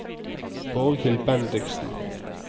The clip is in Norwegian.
Borghild Bendiksen